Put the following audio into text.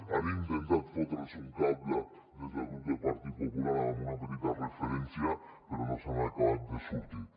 han intentat fotre’ls un cable des del grup del partit popular amb una petita referència però no se n’han acabat de sortir